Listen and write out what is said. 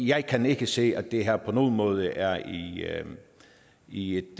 jeg kan ikke se at det her på nogen måde er i et